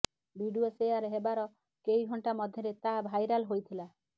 video share ହେବାର କେଇ ଘଣ୍ଟା ମଧ୍ୟରେ ତାହା ଭାଇରାଲ୍ ହୋଇଥିଲା